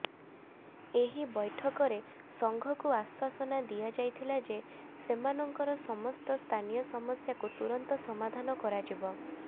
ଏହି ବୈଠକରେ ସଂଘକୁ ଆଶ୍ବାସନା ଦିଆଯାଇଥିଲା ଯେ ସେମାନଙ୍କର ସମସ୍ତ ସ୍ଥାନୀୟ ସମସ୍ୟାକୁ ତୁରନ୍ତ ସମାଧାନ କରାଯିବ